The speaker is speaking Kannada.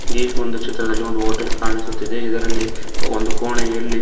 ಈ ಒಂದು ಚಿತ್ರದಲ್ಲಿ ಒಂದು ಹೋಟೆಲ್ ಕಾಣಿಸುತ್ತಿದೆ ಇದರಲ್ಲಿ ಒಂದು ಕೋಣೆಯಲ್ಲಿ--